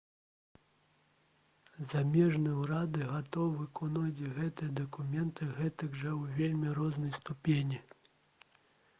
замежныя ўрады гатовы выконваць гэтыя дакументы гэтак жа ў вельмі рознай ступені